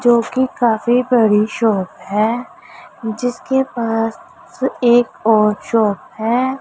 जोकि काफी बड़ी शॉप है जिसके पास एक और एक शॉप है।